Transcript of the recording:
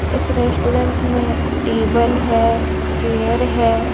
इस रेस्टोरेंट में टेबल हैं चेयर हैं।